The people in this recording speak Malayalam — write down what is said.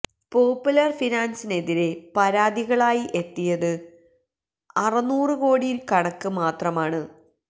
പോപ്പുലർ ഫിനാൻസിനെതിരെ പരാതികളായി എത്തിയത് അറുനൂറ് കോടിയുടെ കണക്ക് മാത്രമാണ്